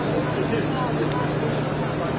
Doqquz min iki yüz doqquz min.